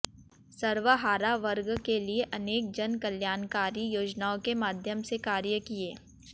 सर्वहारा वर्ग के लिए अनेक जनकल्याणकारी योजनाओं के माध्यम से कार्य किए